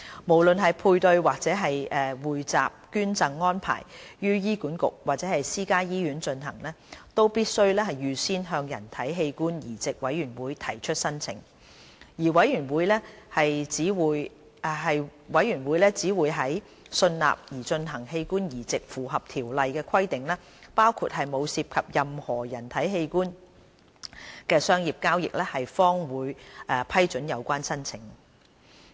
無論配對或匯集捐贈安排於醫管局或私家醫院進行，都必須預先向人體器官移植委員會提出申請，而委員會只會在信納擬進行的器官移植符合《條例》的規定，包括沒有涉及任何人體器官的商業交易，方會批准有關申請。